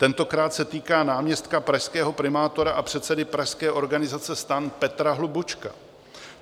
Tentokrát se týká náměstka pražského primátora a předsedy pražské organizace STAN Petra Hlubučka.